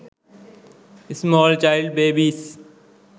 small child babies